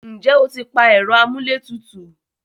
ǹjẹ́ o ti pa ẹ̀rọ amúlé tutù?